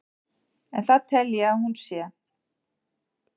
en það tel ég að hún sé.